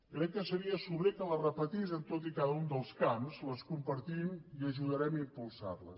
crec que seria sobrer que les repetís en tots i cada un dels camps les compartim i ajudarem a impulsarles